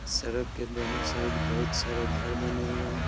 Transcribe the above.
सड़क के दोनों साइड बहुत सारे घर बने हुए हैं |